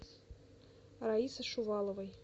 раисы шуваловой